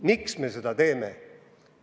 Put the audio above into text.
Miks me seda teeme?